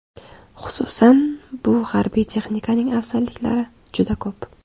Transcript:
Xususan, bu harbiy texnikaning afzalliklari juda ko‘p.